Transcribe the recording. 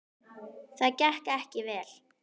Það gekk ekki vel.